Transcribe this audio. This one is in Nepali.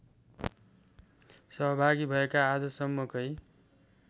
सहभागी भएका आजसम्मकै